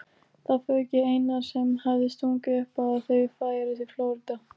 Það fauk í Einar sem hafði stungið upp á að þau færu til Flórída.